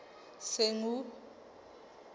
senqu